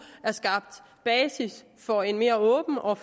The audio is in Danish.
er skabt basis for en mere åben og